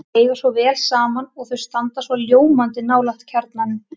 Þau eiga svo vel saman og þau standa svo ljómandi nálægt kjarnanum.